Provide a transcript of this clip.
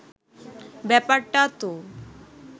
ব্যাপারটা তো